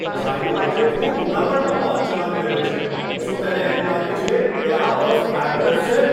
Driver આજે ખૂબ ઉતાવળમાં વાહન ચલાવી રહ્યો છે. શું તેને એમ લાગે છે કે આ બસ એમ્બ્યુલન્સ છે?